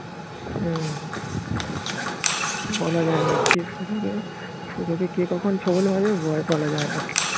হম বলা যায় না কে কখন ছোবল মারবে বলা যায় না